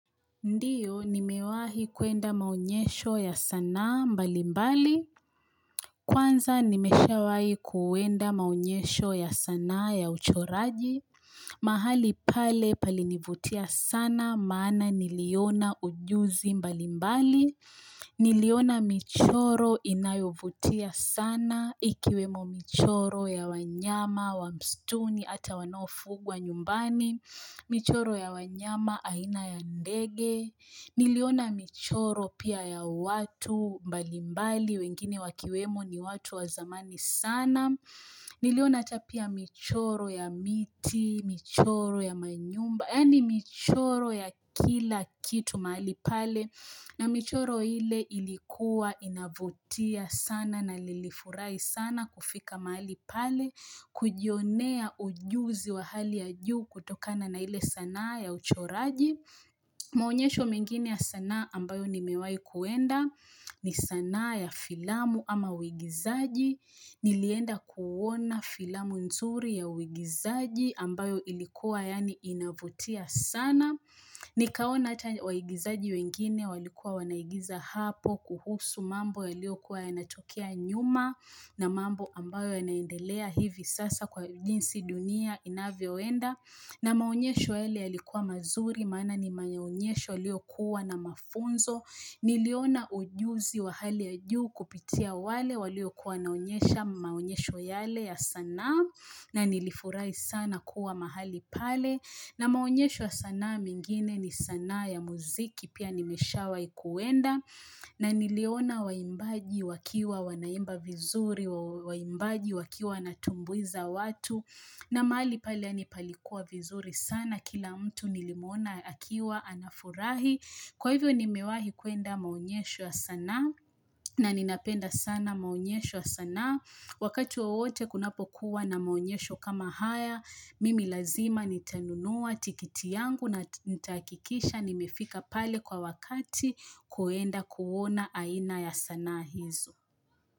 Ndiyo, nimewahi kuenda maonyesho ya sanaa mbalimbali. Kwanza nimeshawahi kuenda maonyesho ya sanaa ya uchoraji. Mahali pale palinivutia sana maana niliona ujuzi mbalimbali. Niliona michoro inayovutia sana ikiwemo michoro ya wanyama wa msituni hata wanaofugwa nyumbani. Michoro ya wanyama aina ya ndege. Niliona michoro pia ya watu mbalimbali wengine wakiwemo ni watu wa zamani sana. Niliona hata pia michoro ya miti, michoro ya manyumba. Yani michoro ya kila kitu mahali pale. Na michoro ile ilikuwa inavutia sana na nilifurahi sana kufika mahali pale. Kujionea ujuzi wa hali ya juu kutokana na ile sanaa ya uchoraji. Maonyesho mengine ya sanaa ambayo nimewai kuenda ni sanaa ya filamu ama uigizaji Nilienda kuona filamu nzuri ya uigizaji ambayo ilikuwa yaani inavutia sana Nikaona hata waigizaji wengine walikuwa wanaigiza hapo kuhusu mambo yaliokuwa yanatokea nyuma na mambo ambayo yanaendelea hivi sasa kwa jinsi dunia inavyoenda na maonyesho yale yalikuwa mazuri maana ni maonyesho yaliyokuwa na mafunzo. Niliona ujuzi wa hali ya juu kupitia wale waliokuwa wanaonyesha maonyesho yale ya sanaa na nilifurahi sana kuwa mahali pale. Na maonyesho ya sanaa mengine ni sanaa ya muziki pia nimeshawai kuenda. Na niliona waimbaji wakiwa wanaimba vizuri waimbaji wakiwa wanatumbuiza watu. Na mahali pale yaani palikuwa vizuri sana kila mtu nilimuona akiwa anafurahi. Kwa hivyo nimewahi kuenda maonyesho ya sanaa na ninapenda sana maonyesho ya sanaa. Wakati wowote kunapokuwa na maonyesho kama haya, mimi lazima nitanunua tikiti yangu na nitahakikisha nimefika pale kwa wakati kuenda kuona aina ya sanaa hizo.